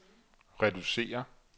reducere